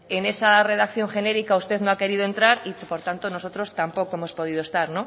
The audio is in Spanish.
en esa redacción genérica usted no ha querido entrar y por tanto nosotros tampoco hemos podido estar